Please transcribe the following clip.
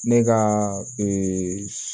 Ne ka ee